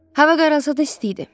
Hava qaralsa da isti idi.